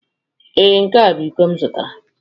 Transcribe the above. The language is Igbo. Ee, nke a bụ iko m zụtara.